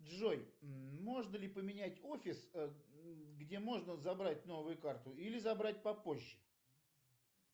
джой можно ли поменять офис где можно забрать новую карту или забрать попозже